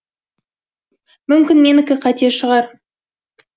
мүмкін менікі қате шығар